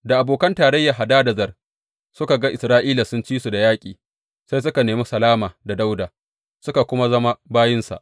Da abokan tarayyar Hadadezer suka ga Isra’ila sun ci su da yaƙi, sai suka nemi salama da Dawuda suka kuma zama bayinsa.